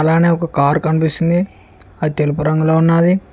అలానే ఒక కారు కనిపిస్తుంది అది తెలుపు రంగులో ఉన్నాది.